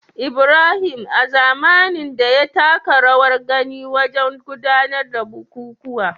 Ibrahim, a zamanin da, ya taka rawar gani wajen gudanar da bukukuwa